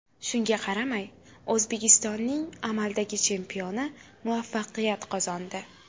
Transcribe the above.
Shunga qaramay O‘zbekistonning amaldagi chempioni muvaffaqiyat qozondi.